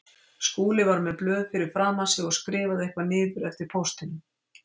Skúli var með blöð fyrir framan sig og skrifaði eitthvað niður eftir póstinum.